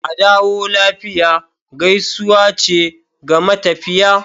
"Adawo lafiya" gaisuwa ce ga matafiya.